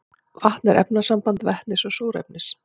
vatn er efnasamband vetnis og súrefnis